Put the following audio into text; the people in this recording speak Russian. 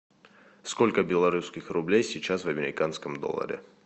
сколько белорусских рублей сейчас в американском долларе